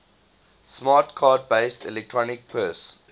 smart card based electronic purse